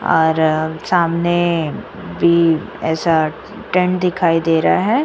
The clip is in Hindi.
और सामने भी ऐसा सामने टेंट दिखाई दे रहा है।